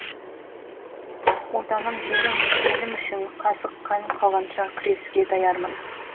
отаным жерім елім үшін қасық қаным қалғанша күресуге даярмын